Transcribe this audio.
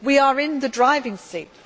we are in the driving seat.